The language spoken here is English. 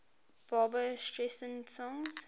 barbra streisand songs